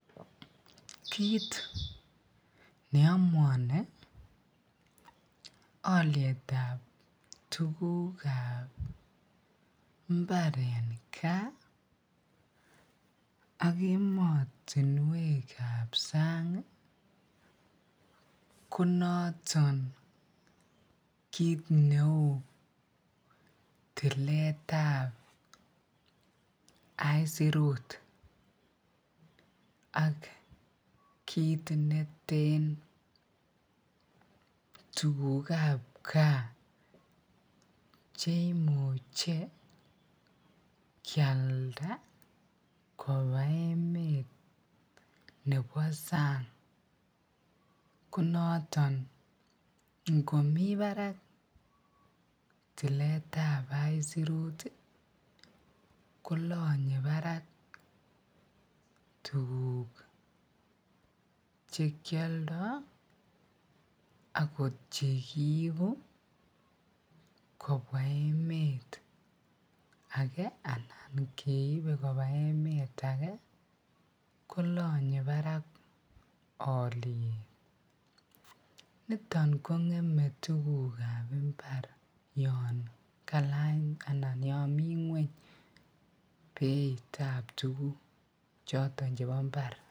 Kiit neomuoni olietab tukukab imbar en kaa ak emotinwekab sang ko noton kiit neuu tiletab aisirut ak kiit neten tukukab kaa cheimuch kialda koa emet nebo sang, ko noton ngomii barak tiletab aisirut kolonye barak tukuk chekioldo akot chekiibu kobwa emet akee anan keibe kobaa emet akee kolonye barak olie, niton kongeme tukukab mbar yoon kalany anan yoon mii ngweny beitab tukuk choton chebo mbar.